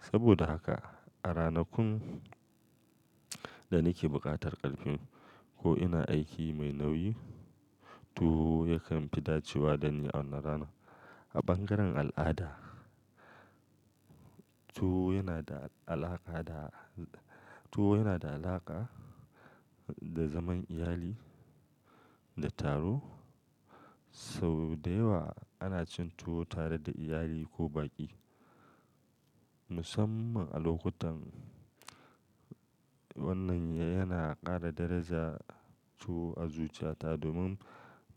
Saboda haka a ranakun da nake buƙatar ƙarfi ko ina aiki mai nauyi tuwo yakan fi dacewa da ni a wannan rana. A bangaren al'ada tuwo yana da alaƙa da zaman iyali da taro saboda yawa ana cin tuwo tare da iyali ko baƙi musamman a lokutan. Wannan yana ƙara daraja tuwo a zuciyata domin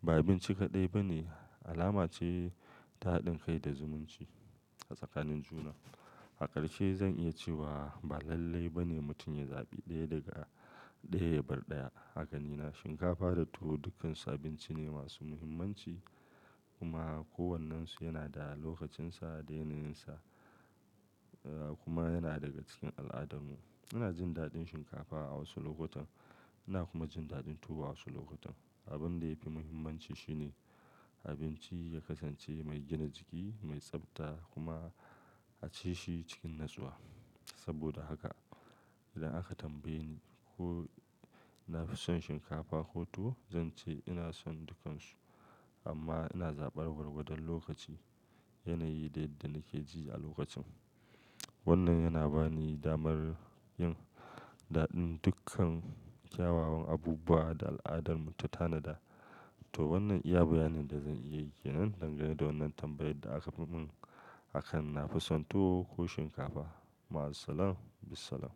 ba abinci kaɗai ba ne, alama ce ta haɗin kai da zumunci a tsakanin juna. Hakarshe zan iya cewa ba lallai ba ne mutum ya zaɓi ɗaya daga ɗaya. Ya bar ɗaya A ganina shinkafa da tuwo dukkansu abinci ne masu muhimmanci kuma kowannensu yana da lokacinsa, yanayinsa kuma yana daga cikin al'adarmu. Ina jin daɗin shinkafa a wasu lokutan ina kuma jin daɗin tuwo a wasu lokutan. Abin da ya fi muhimmanci shi ne abinci ya kasance mai gina jiki, mai tsabta kuma a ci shi cikin natsuwa. Saboda haka idan aka tambaye ni ko na fi son shinkafa ko tuwo zan ce ina son dukkansu amma ina zaɓar gwargwadon lokaci, yanayi da yadda nake ji a lokacin. Wannan yana ba ni damar yin daɗin dukkan kyawawan abubuwa da al'adarmu ta tanada. To wannan iya baya ne da zan iya yi nan dangane da wannan tambayar da aka mun akan na fi son tuwo ko shinkafa. Ma'as-salama, bisalam.